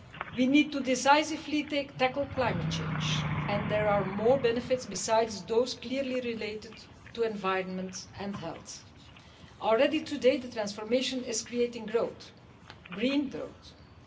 We need to decisively tackle climate change, and there are more benefits besides those clearly related to environment and health. Already today the transformation is creating growth green growth.